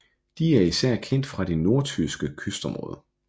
De er især kendt fra det nordtyske kystområde